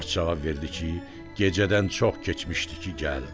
Qaravaç cavab verdi ki, gecədən çox keçmişdi ki, gəldi.